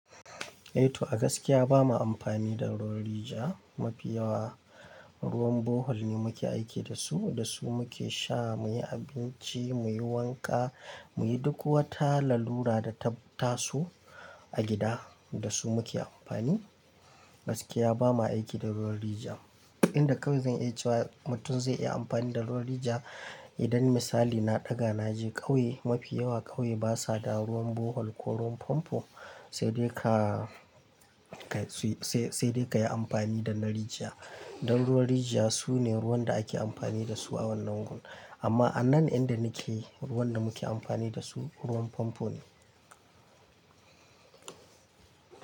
Eh to a gaskiya bamu amfani da ruwan rijiya mafi yawa. Ruwan borehole ne muke aiki da su, da su muke sha, muyi abinci, muyi wanka, muyi duk wata lalura da ta tasu a gida. Da su muke amfani. Gaskiya bamu aiki da ruwan rijiya. Inda kawai zan iya cewa mutum zai iya amfani da ruwan rijiya idan misali na ɗaga na je ƙauye mafi yawa ƙauye basa da ruwan borehole ko ruwan famfo, sai dai ka, sai dai ka yi amfani da na rijiya. Dan ruwan rijiya sune ruwan da ake amfani da su a wannan gun. Amma a nan inda nake ruwan da muke amfani da su ruwan famfo ne.